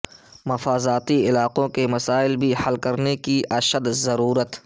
مضافاتی علاقوں کے مسائل بھی حل کرنے کی اشد ضرورت